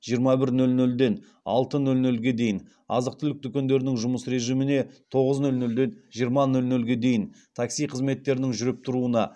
жиырма бір нөл нөлден алты нөл нөлге дейін азық түлік дүкендерінің жұмыс режиміне тоғыз нөл нөлден жиырма нөл нөлге дейін такси қызметтерінің жүріп тұруына